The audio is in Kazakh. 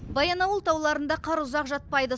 баянауыл тауларында қар ұзақ жатпайды